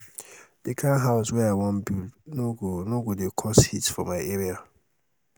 di kind house wey i wan build no go go dey cause heat for my area.